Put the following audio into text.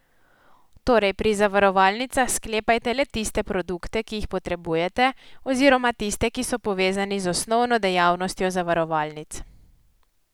Torej, pri zavarovalnicah sklepajte le tiste produkte, ki jih potrebujete, oziroma tiste, ki so povezani z osnovno dejavnostjo zavarovalnic.